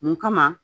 Mun kama